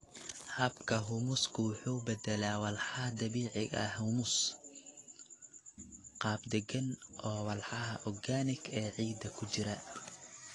Habka humusku wuxuu u beddelaa walxaha dabiiciga ah humus, qaab deggan oo walxaha organic ee ciidda ku jira.